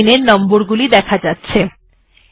এখন লাইন এর নম্বরগুলি দেখা যাচ্ছে